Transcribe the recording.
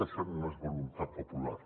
això no és voluntat popular